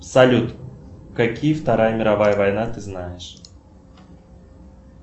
салют какие вторая мировая война ты знаешь